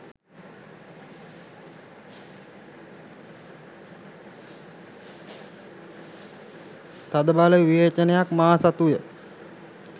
තදබල විවේචනයක් මා සතුය.